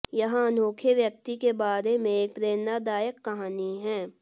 यह अनोखे व्यक्ति के बारे में एक प्रेरणादायक कहानी है